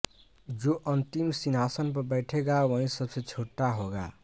जो अंतिम सिंहासन पर बेठेगा वही सबसे छोटा होगा